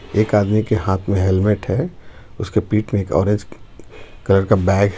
एक आदमी के हाथ में हेलमेट है उसके पीठ में एक ऑरेंज कलर का बैग है.